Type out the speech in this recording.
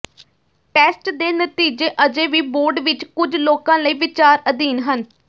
test ਦੇ ਨਤੀਜੇ ਅਜੇ ਵੀ ਬੋਰਡ ਵਿਚ ਕੁਝ ਲੋਕਾਂ ਲਈ ਵਿਚਾਰ ਅਧੀਨ ਹਨ